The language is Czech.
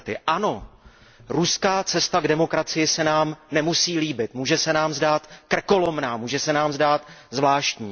Ano, ruská cesta k demokracii se nám nemusí líbit, může se nám zdát krkolomná, může se nám zdát zvláštní.